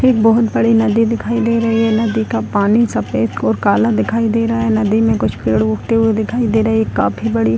एक बहुत बड़ी नदी दिखाई दे रही है नदी का पानी सफेद और काला दिखाई दे रहा है नदी में कुछ पेड़ उगते हुए दिखाई दे रहे है ये काफी बड़ी --